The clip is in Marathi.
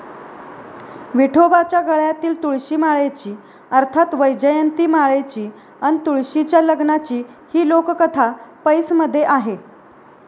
विठोबाच्या गळ्यातील तुळशीमाळेची अर्थात वैजयंतीमाळेची अन तुळशीच्या लग्नाची ही लोककथा 'पैस'मध्ये आहे.